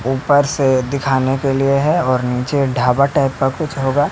ऊपर से दिखाने के लिए है और नीचे ढाबा टाइप कुछ होगा--